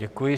Děkuji.